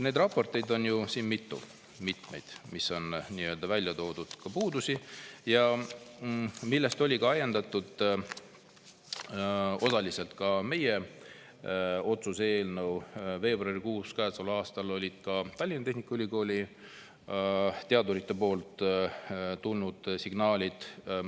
" Neid raporteid on mitu, milles on välja toodud ka puudusi, millest oli osaliselt ajendatud ka meie otsuse eelnõu tänavu veebruarikuus, ja olid ka Tallinna Tehnikaülikooli teaduritelt tulnud signaalid.